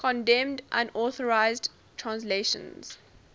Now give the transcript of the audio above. condemned unauthorized translations